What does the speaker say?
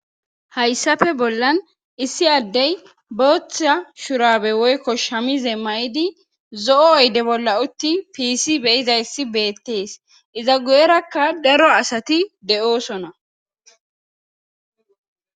Hayssafe bollan issi addey booththa shurabe woykko shamize may'idi zo'o oyde bolla utti piisi beyizayssi beettees iza gu'erakka daro asati de'oosona.